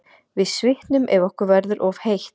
Við svitnum ef okkur verður of heitt.